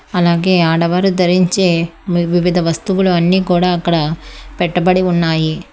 అలాగే ఆడవారు ధరించే వివిధ వస్తువులు అన్నీ కూడా అక్కడ పెట్టబడి ఉన్నాయి.